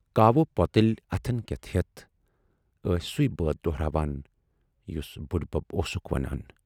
کاوٕ پۅتٕلۍ اَتھن کٮ۪تھ ہٮ۪تھ ٲسۍ سُے بٲتھ دۅہراوان یُس بُڈۍ بَب اوسُکھ وَنان۔